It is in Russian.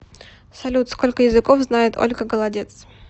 салют сколько языков знает ольга голодец